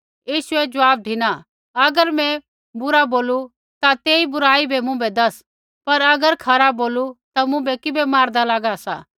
यीशुऐ ज़वाब धिना अगर मैं बुरा बोलू ता तेस बुराई बै मुँभै दैस पर अगर खरा बोलू ता मुँभै किबै मारदा लागा सा